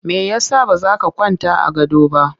Me ya sa ba za ka kwanta a gado ba?